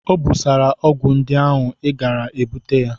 O busala ọgwụ ndị ahụ, ị gaara e bute ya!